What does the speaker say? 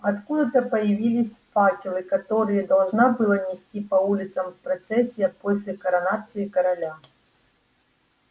откуда-то появились факелы которые должна была нести по улицам процессия после коронации короля